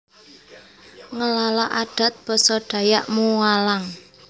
Ngelala Adat Basa Dayak Mualang